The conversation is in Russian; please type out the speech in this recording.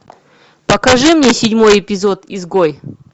покажи мне седьмой эпизод изгой